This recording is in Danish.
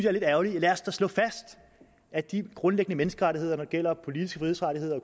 er lidt ærgerligt lad os da slå fast at de grundlæggende menneskerettigheder der gælder politiske frihedsrettigheder og